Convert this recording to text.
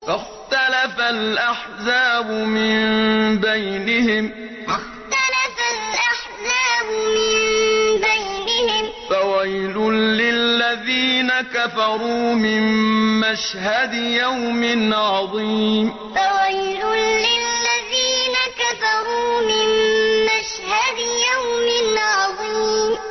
فَاخْتَلَفَ الْأَحْزَابُ مِن بَيْنِهِمْ ۖ فَوَيْلٌ لِّلَّذِينَ كَفَرُوا مِن مَّشْهَدِ يَوْمٍ عَظِيمٍ فَاخْتَلَفَ الْأَحْزَابُ مِن بَيْنِهِمْ ۖ فَوَيْلٌ لِّلَّذِينَ كَفَرُوا مِن مَّشْهَدِ يَوْمٍ عَظِيمٍ